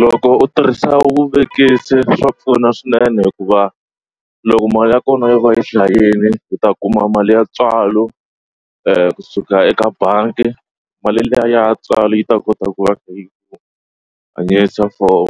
Loko u tirhisa vuvekisi swa pfuna swinene hikuva loko mali ya kona yi va yi hlayeni u ta kuma mali ya ntswalo kusuka eka bangi mali liya ya ntswalo yi ta kota ku va yi for